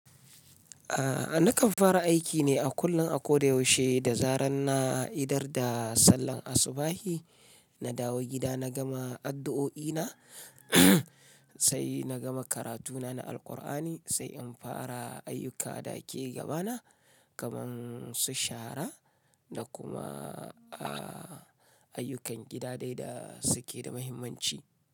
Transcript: Aaa nakan fara aiki ne a kullum a kodayaushe da zarar na idar da sallar asubahi, na dawo gida na gama addu'o'i na, sai na gama karatuna na Alqur'ani, sai in fara ayyuka da ke gaba na kamar su shara da kuma aaa ayyukan gida dai da suke da muhimmanci.